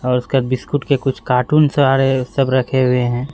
और उसका बिस्कुट के कुछ कार्टूनस आ रहे है। सब रखे हुए हैं।